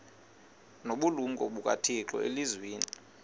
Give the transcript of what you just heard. nobulumko bukathixo elizwini